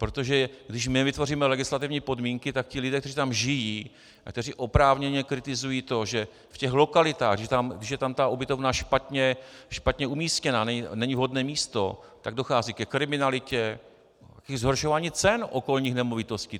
Protože když jim nevytvoříme legislativní podmínky, tak ti lidé, kteří tam žijí a kteří oprávněně kritizují to, že v těch lokalitách, když je tam ta ubytovna špatně umístěna, není vhodné místo, tak dochází ke kriminalitě i zhoršování cen okolních nemovitostí.